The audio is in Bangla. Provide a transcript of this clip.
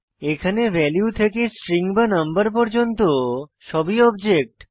এখানে ভ্যালু থেকে স্ট্রিং বা নম্বর পর্যন্ত সবই অবজেক্ট